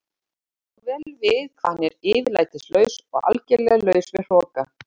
Hún kann svo vel við hvað hann er yfirlætislaus og algerlega laus við hroka.